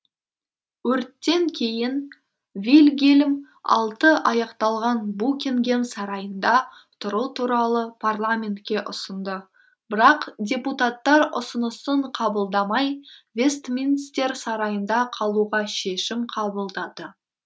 өрттен кейін вильгельм алты аяқталған букингем сарайында тұру туралы парламентке ұсынды бірақ депутаттар үсынысын қабылдамай вестминстер сарайында қалуға шешім қабылдады